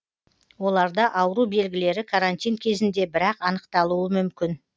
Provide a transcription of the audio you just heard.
оларда ауру белгілері карантин кезінде бір ақ анықталуы мүмкін